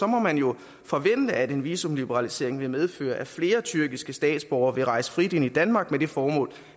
må man jo forvente at en visumliberalisering vil medføre at flere tyrkiske statsborgere vil rejse frit ind i danmark med det formål